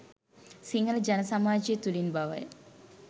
සිංහල ජන සමාජය තුළින් බවය.